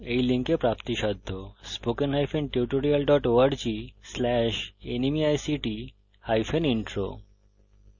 spoken hyphen tutorial dot org slash nmeict hyphen intro